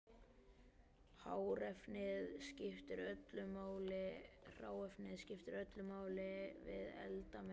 Hráefnið skiptir öllu máli við eldamennskuna.